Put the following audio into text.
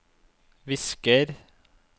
visker